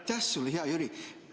Aitäh sulle, hea Jüri!